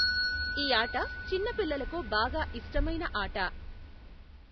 ఈ ఆట చిన్న పిల్లలకు బాగా ఇష్టమైన ఆట.